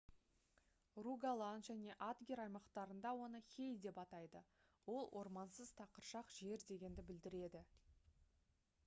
ругаланн және адгер аймақтарында оны «hei» деп атайды. ол ормансыз тақыршақ жер дегенді білдіреді